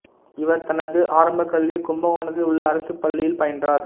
இவர் தனது ஆரம்பக் கல்வியை கும்பகோணத்தில் உள்ள அரசுப் பள்ளியில் பயின்றார்